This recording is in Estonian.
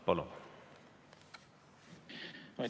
Palun!